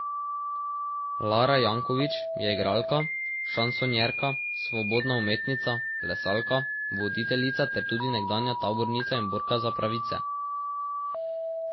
Lara Jankovič je igralka, šansonjerka, svobodna umetnica, plesalka, voditeljica ter tudi nekdanja tabornica in borka za pravice.